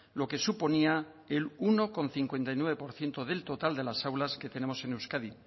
lo que suponía el uno coma cincuenta y nueve por ciento del total de las aulas que tenemos en euskadi